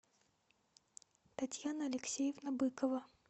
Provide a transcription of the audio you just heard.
татьяна алексеевна быкова